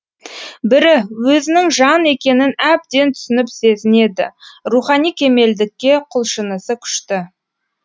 бірі өзінің жан екенін әбден түсініп сезінеді рухани кемелдікке құлшынысы күшті